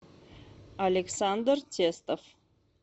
александр тестов